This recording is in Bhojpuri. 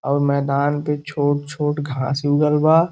और मैदान पे छोट-छोट घास उगल बा।